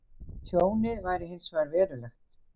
Tjónið væri hins vegar verulegt